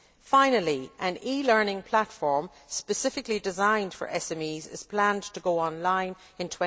Finally, an e learning platform specifically designed for SMEs is planned to go on line in